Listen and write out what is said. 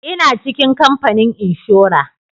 Ina cikin kamfanin inshora